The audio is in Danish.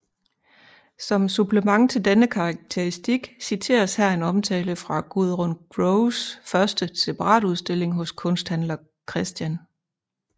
Som supplement til denne karakteristik citeres her en omtale fra Gudrun Groves første separatudstilling hos Kunsthandler Chr